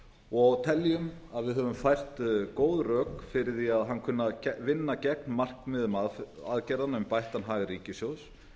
og teljum að við höfum fært góð rök fyrir því að hann kunni að vinna gegn markmiðum aðgerðanna um bættan hag ríkissjóðs